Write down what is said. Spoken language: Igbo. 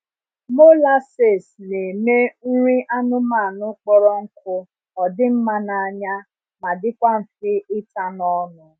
Molases na eme nri anụmanụ kpọrọ nkụ odi mma na anya ma dikwa nfe ita n’ ọnụ